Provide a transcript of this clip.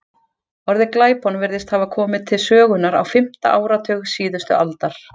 Orðið glæpon virðist hafa komið til sögunnar á fimmta áratug síðustu aldar.